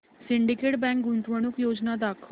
Syndicate bank गुंतवणूक योजना दाखव